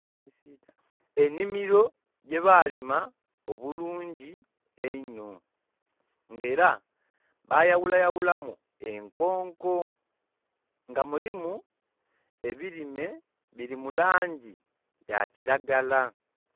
Ennhimiro gyebaalima obulungi einho, nga era bayaghulayaghulamu enkonko, nga mulimu ebirime biri mu langi ya kiragala.